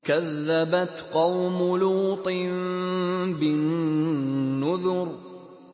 كَذَّبَتْ قَوْمُ لُوطٍ بِالنُّذُرِ